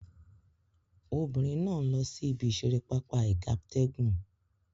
Obinrin na n lo si ibi isere papa igabtegun